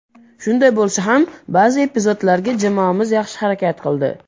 Shunday bo‘lsa ham, ba’zi epizodlarda jamoamiz yaxshi harakat qildi.